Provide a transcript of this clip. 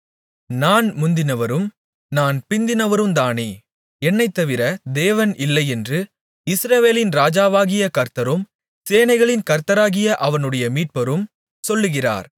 நான் முந்தினவரும் நான் பிந்தினவருந்தானே என்னைத்தவிர தேவன் இல்லையென்று இஸ்ரவேலின் ராஜாவாகிய கர்த்தரும் சேனைகளின் கர்த்தராகிய அவனுடைய மீட்பரும் சொல்கிறார்